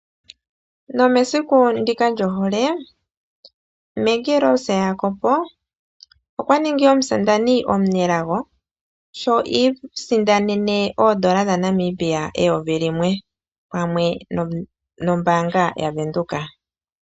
Nomesiku ndika loohole Maggie Rose Jacob okwaningi omusindani omunelago sho i isindanene N$1000.00 pamwe nombaanga yaWindhoek.